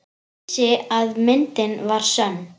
Vissi að myndin var sönn.